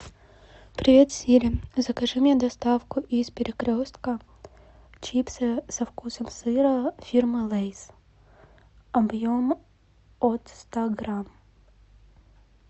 привет сири закажи мне доставку из перекрестка чипсы со вкусом сыра фирмы лэйс объем от ста грамм